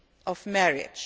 of marriage.